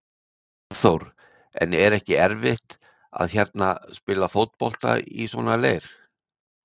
Hafþór: En er ekki erfitt að hérna, spila fótbolta í svona leir?